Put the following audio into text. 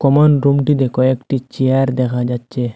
Common রুমটিতে কয়েকটি চেয়ার দেখা যাচ্ছে।